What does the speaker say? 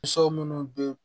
minnu bɛ